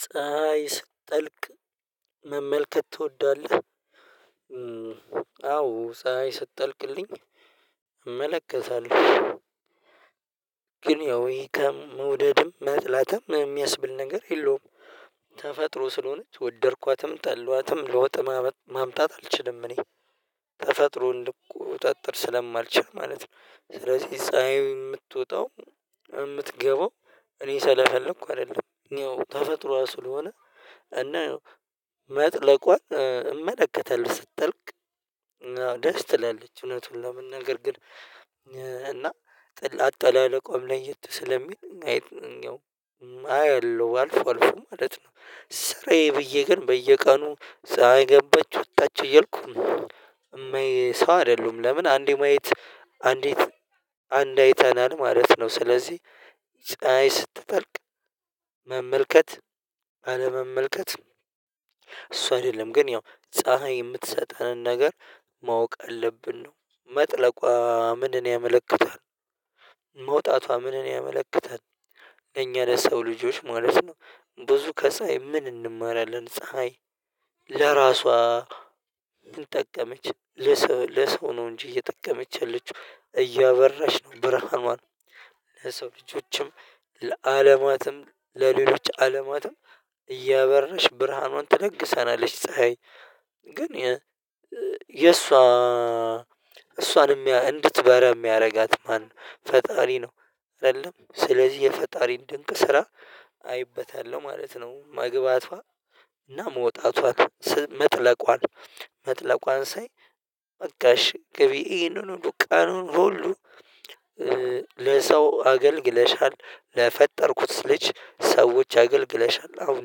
ፀሀይ ስትጠልቅ መመልከት ትወዳለህ? አዎ ሰው ስትጠልቅልኝ እመለከታለሁ ግን ያው ይሄ ከመውደድም መጥላትም የሚያስብል ነገር የለውም። ተፈጥሮ ስለሆነች ወደድኳትም ጠላኋትም ለውጥ ማምጣት አልችልም እኔ ተፈጥሮ እንድቆጠጥር ስለማልችል ማለት ነው። ስለዚህ ፀሀይ የምትወጣው የምትገባው እኔ ሰላሳ ልክ አይደለም ያው ተፈጥሮዋ ስለሆነ እና መጥለቋን እመለከተለሁ። ስትጠልቅ ደስ ትላለች እውነቱን ለመናገር ግን እና ጥላቻ ላይ አለቆም ለየት ስለሚል ማየት ያው አያለው አልፎ አልፎ ማለት ነው። ስራዬ ብዬ ግን በየቀኑ ሳይገባች ወጥታችሁ እያልኩ ነው የማየው ሰው አይደሉም። ለምን አንዴ ማየት አንዴ አንድ አይተናል ማለት ነው። ስለዚህ ፀሀይ ስትጠልቅ መመልከት አለመመልከት እሱ አይደለም ግን ያው ፀሀይ የምትሰጠንን ነገር ማወቅ አለብን ነው መጥለቋ ምን ያመለክታል? መውጣቷ ምን ያመለክታል? እኛ ለሰው ልጆች ማለት ነው። ብዙ ከሳይ ምን እንማራለን ፀሀይ ለራሷ ምን ጠቀመች? ለሰው ነው እንጂ እየጠቀመች ያለችው እያበራሽ ነው ብርሃኑን ለሰው ልጆችም ለዓለማትም ለሌሎች ዓለማትም እያበረነሽ ብርሃኑን ትነግሰናለች። ፀሀይ ግን የእሷ እሷንም እንድትበራ የሚያደርጋት ማነው? ፈጣሪ ነው። አይደለም ስለዚህ የፈጣሪን ድንቅ ስራ አይበታለሁ ማለት ነው። መግባቷ እና መውጣቷ መጥለቋን መጥለቋን ሳይ መጋሽ ግቢ ይሄንን ዱቃኑን ቡሉ ሁሉ ለሰው አገልግለሻል። ለፈጠርኩት ልጅ ሰዎች አገልግለሻል አሁን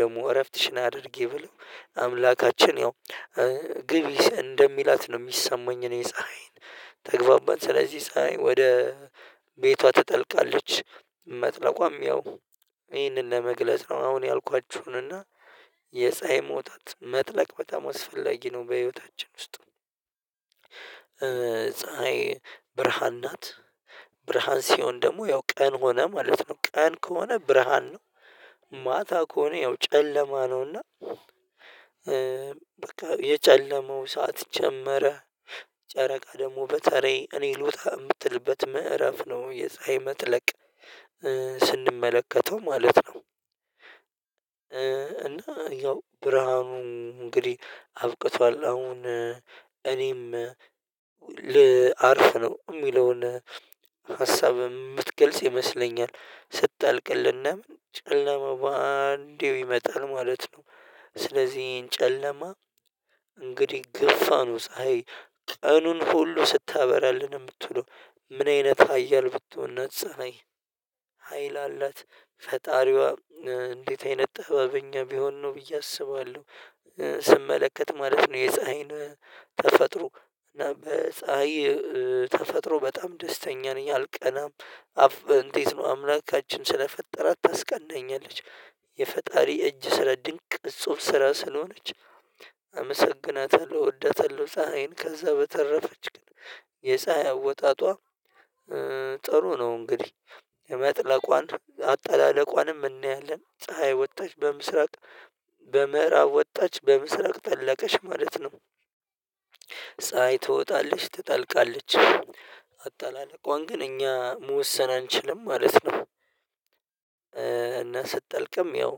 ደግሞ እረፍትሽን አድርጊ ብሎ አምላካችን ያው ግቢ እንደሚላት ነው የሚሰማኝ። እኔ ፀሀይን ተግባባን ስለዚህ ፀሀይ ወደ ቤቷ ትጠልቃለች። መጥለቋም ያው ይህንን ለመግለጽ ነው አሁን ያልኳችሁን እና የፀሀይ መውጣት መጥለቅ በጣም አስፈላጊ ነው። በህይወታችን ውስጥ ፀሀይ ብርሃን ናት ብርሃን ሲሆን ደግሞ ያው ቀን ሆነ ማለት ነው። ቀን ከሆነ ብርሃን ነው። ማታ ከሆነ ያው ጨለማ ነውና በቃ የጨለማው ሰዓት ጀመረ። ጨረቃ ደግሞ በተለይ እኔ ልውጣ የምትልበት ምዕራፍ ነው። የፀሀይ መትለቅ ስንመለከተው ማለት ነው። እና ያው ብርሃኑም እንግዲህ አብቅቷል አሁን እኔም ልአርፍ ነው የሚለውን ሀሳብ የምትገልጽ ይመስለኛል። ስትጣልቅልና ምን ጨለማ በአንዴው ይመጣል ማለት ነው። ስለዚህ ይሄን ጨለማ እንግዲህ ግፋ ነው። ፀሀይ ቀኑን ሁሉ ስታበራልን የምትለው ምን አይነት ሀያል ብትሆን ነፃ ነኝ። ሀይል አላት ፈጣሪዋ እንዴት አይነት ጥበበኛ ቢሆን ነው ብዬ አስባለሁ። ስመለከት ማለት ነው። የፀሀይን ተፈጥሮ እና በፀሀይ ተፈጥሮ በጣም ደስተኛ ነኝ አልቀናም። እንዴት ነው አምላካችን ስለፈጠራት ታስቀናኛለች። የፈጣሪ እጅ ስለ ድንቅ እጹብ ስራ ስለሆነች። አመሰግናታለሁ እወዳታለሁ ፀሀይን ከዛ በተረፈች ግን የሳይ አወጣጧ ጥሩ ነው። እንግዲህ የመጥለቋን አጠላለቋንም እናያለን። ፀሀይ ወጣች በምሥራቅ በምዕራብ ወጣች በምሥራቅ ጠለቀሽ ማለት ነው። ፀሀይ ትወጣለች ትጠልቃለች አጣላለቋን ግን እኛ መወሰን አንችልም ማለት ነው። እና ስትጠልቅም ያው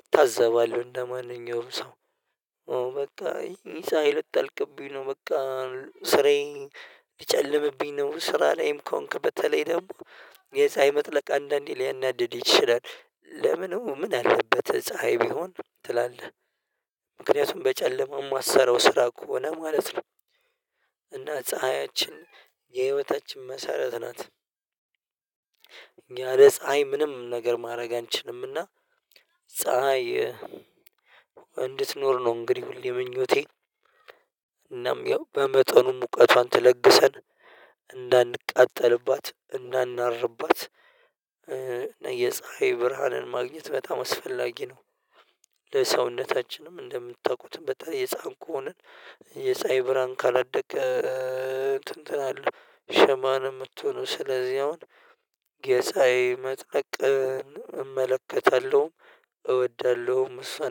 እታዘባለሁ እንደማንኛውም ሰው ኦ በቃ ፀሀይ ልትጠልቅብኝ ነው በቃ ስራዬ ሊጨልምብኝ ነው። ስራ ላይም ከሆንክ በተለይ ደግሞ የሳይ መጥለቅ አንዳንዴ ሊያናድድ ይችላል። ለምኑ ምን አለበት ፀሀይ ቢሆን ትላለህ? ምክንያቱም በጨለማ የማትሰራው ስራ ከሆነ ማለት ነው። እና ፀሀያችን የህይወታችን መሰረት ናት። ያለ ፀሀይ ምንም ነገር ማድረግ አንችልምና። ፀሀይ እንድትኖር ነው እንግዲህ ሁሌ ምኞቴ እናም ያው በመጠኑ ሙቀቷን ተለግሰን እንዳንቃጠልባት እንዳናርባት የፀሀይ ብርሃንን ማግኘት በጣም አስፈላጊ ነው። ለሰውነታችንም እንደምታውቁት በጣም የጻንቁ ሆነን የፀሀይ ብራን ካላደገ እንትን እንትን አለው ሸማ ነው የምትሆነው ስለዚህ አሁን የፀሀይ መጥለቅን እመለከታለሁ። እወዳለሁም እሷን